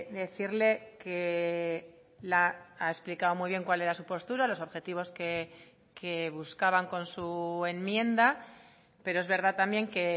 decirle que ha explicado muy bien cuál era su postura los objetivos que buscaban con su enmienda pero es verdad también que